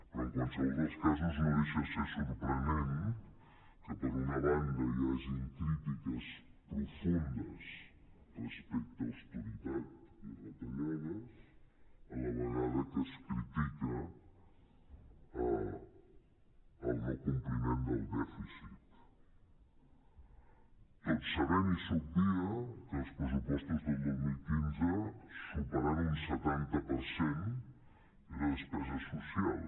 però en qualse·vol dels casos no deixa de ser sorprenent que per una banda hi hagin crítiques pro·fundes respecte a austeritat i retallades a la vegada que es critica el no compliment del dèficit tot sabent i s’obvia que els pressupostos del dos mil quinze superant un setanta per cent era despesa social